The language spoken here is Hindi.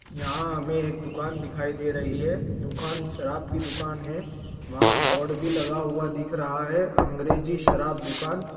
यहाँ हमें एक दुकान दिखाई दे रही है दुकान शराब की दुकान है वहाँ बोर्ड भी लगा हुआ दिख रहा है अंग्रेजी शराब दुकान।